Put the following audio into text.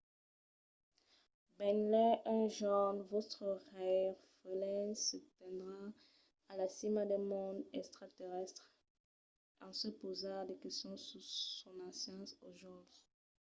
benlèu un jorn vòstres rèirefelens se tendràn a la cima d'un mond extraterrèstre en se pausar de questions sus sos ancians aujòls